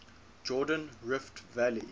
jordan rift valley